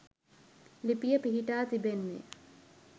ලිපිය පිහිටා තිබෙන්නේ